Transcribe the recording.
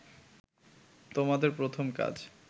তোমাদের প্রথম কাজ